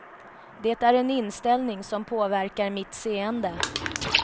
Det är en inställning som påverkar mitt seende.